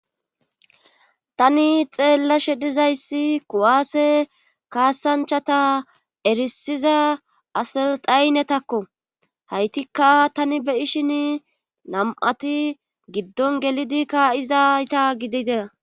Tani xeellashe dizayssi ku7aase kaasanchata erisiza asal dhaynetakko haytikka tani beyishin nam7ati giddon gelidi kaa7izayta gidide.